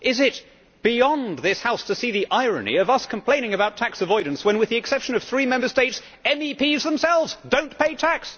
Is it beyond this House to see the irony of us complaining about tax avoidance when, with the exception of three Member States, MEPs themselves do not pay tax?